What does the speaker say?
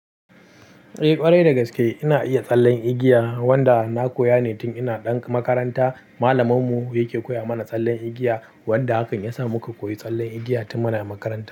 Eh ƙwarai dagaske ina iya tsallen igiya wanda na koya ne tun ina ɗan makaranta. Malamin mu yake koya mana tsallen igiya wanda hakan yasa muka koyi tsallen igiya tun muna makaranta.